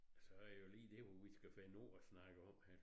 Så deet jo lige det hvad vi skal finde ud og snakke om her